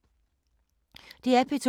DR P2